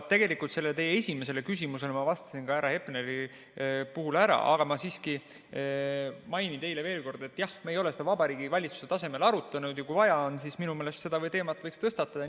Tegelikult sellele teie esimesele küsimusele ma vastasin härra Hepnerile vastates ära, aga ma siiski mainin teile veel kord, et me ei ole seda Vabariigi Valitsuse tasemel arutanud, aga kui vaja on, siis minu meelest seda teemat võiks tõstatada.